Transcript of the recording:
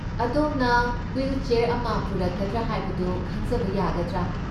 ꯑꯗꯣꯝꯅ ꯍꯨꯏꯜꯆꯦꯔ ꯑꯃ ꯄꯨꯔꯛꯀꯗꯔꯥ ꯍꯥꯏꯕꯗꯨ ꯈꯪꯖꯕ ꯌꯥꯒꯗ꯭ꯔꯥ ꯫